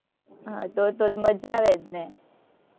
હમ તો તો મજા આવે જ ને.